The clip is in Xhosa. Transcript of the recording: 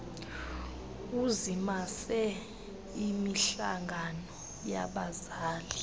uzimase imihlangano yabazali